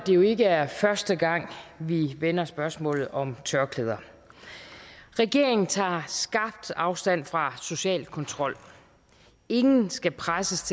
jo ikke er første gang vi vender spørgsmålet om tørklæder regeringen tager skarpt afstand fra social kontrol ingen skal presses